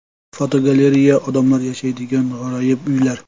Fotogalereya: Odamlar yashaydigan g‘aroyib uylar.